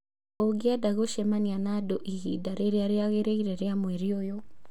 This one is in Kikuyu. Ũngĩenda gũcemania na andũ ihinda rĩrĩa rĩagĩrĩire rĩa mweri ũyũ